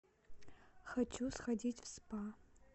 хочу сходить в спа